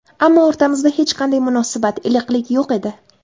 Ammo o‘rtamizda hech qanday munosabat, iliqlik yo‘q edi.